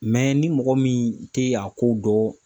ni mɔgɔ min tɛ a ko dɔn